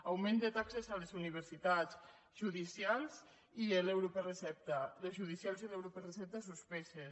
augment de taxes a les universitats judicials i l’euro per recepta les judicials i l’euro per recepta suspeses